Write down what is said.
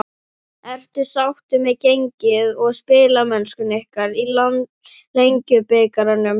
Ertu sáttur með gengi og spilamennsku ykkar í Lengjubikarnum?